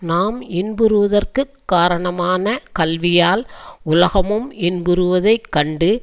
நாம் இன்புறுவதற்குக் காரணமான கல்வியால் உலகமும் இன்புறுவதைக் கண்டு